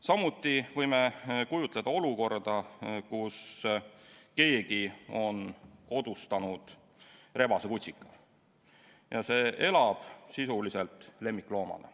Samuti võime kujutleda olukorda, kus keegi on kodustanud rebasekutsika ja see elab sisuliselt lemmikloomana.